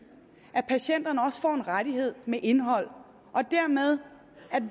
at patienterne også får en rettighed med indhold